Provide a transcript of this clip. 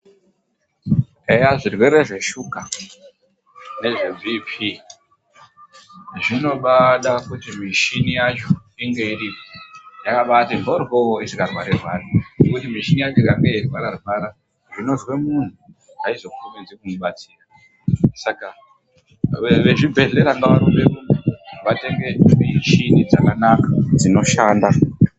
Eya zvirwere zveshuka nezve kurumba kwengazi zvinobaada kuti mishini yacho inge yakabaati mboryo isingarwarirwari. Ngekuti mishini yacho ikange yeirwararwara, zvinozwe muntu aizokurumidzi kuibatsira. Saka vezvibhedhlera ngavarumberumbe, vatenge michini dzakanaka dzinoshanda.